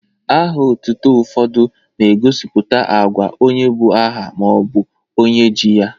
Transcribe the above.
Aha otutu ụfọdụ na-egosipụta agwa onye bu aha ma ọ bụ onye ji ya.